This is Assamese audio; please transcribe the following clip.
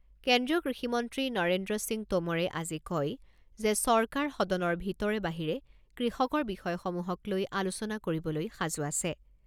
কেন্দ্ৰীয় কৃষিমন্ত্ৰী নৰেন্দ্ৰ সিং টোমৰে আজি কয় যে চৰকাৰ সদনৰ ভিতৰে বাহিৰে কৃষকৰ বিষয়সমূহক লৈ আলোচনা কৰিবলৈ সাজু আছে।